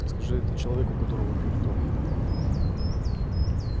скажи это человеку у которого пьют кровь